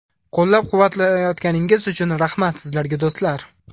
Qo‘llab-quvvatlayotganingiz uchun rahmat sizlarga, do‘stlar!